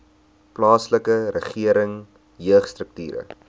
plaaslike regering jeugstrukture